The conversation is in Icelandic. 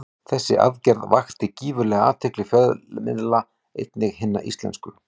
Þessi aðgerð vakti gífurlega athygli fjölmiðla, einnig hinna íslensku.